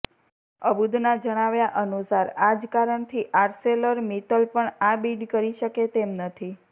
અબુદના જણાવ્યા અનુસાર આ જ કારણથી આર્સેલરમિત્તલ પણ બિડ કરી શકે તેમ નથી